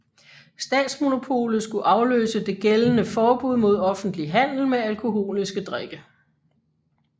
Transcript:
Statsmonopolet skulle afløse det gældende forbud mod offentlig handel med alkoholiske drikke